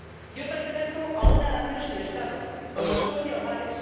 Yo pertenezco a una nación sin Estado, como Escocia o Gales.